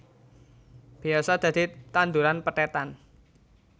Biasa dadi tanduran pethètan